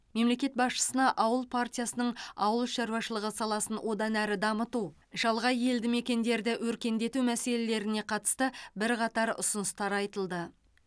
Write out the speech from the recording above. мемлекет басшысына ауыл партиясының ауыл шаруашылығы саласын одан әрі дамыту шалғай елді мекендерді өркендету мәселелеріне қатысты бірқатар ұсыныстар айтылды